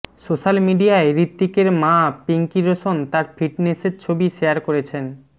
social মিডিয়ায় হৃতিকের মা পিঙ্কি রোশন তার ফিটনেসের ছবি শেয়ার করেছেন